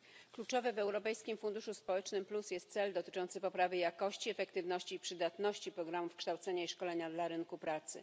Kluczowy w Europejskim Funduszu Społecznym Plus jest cel dotyczący poprawy jakości, efektywności i przydatności programów kształcenia i szkolenia dla rynku pracy.